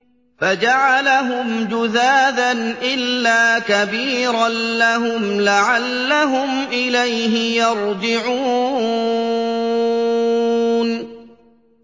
فَجَعَلَهُمْ جُذَاذًا إِلَّا كَبِيرًا لَّهُمْ لَعَلَّهُمْ إِلَيْهِ يَرْجِعُونَ